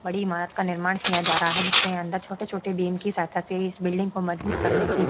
बड़ी इमारत का निर्माण किया जा रहा है जिसके अंदर छोटे-छोटे बीम की सहायता से इस बिल्डिंग को मजबूत करने की --